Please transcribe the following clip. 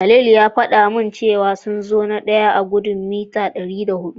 Khalil ya faɗa min cewa sun zo na daya a gudun mita dari hudu.